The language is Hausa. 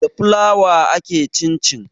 Da fulawa ake cin cin